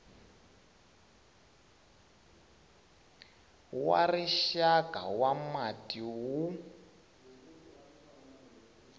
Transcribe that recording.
wa rixaka wa mati wu